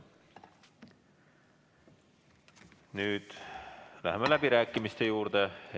Nüüd läheme läbirääkimiste juurde.